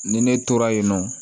Ni ne tora yen nɔ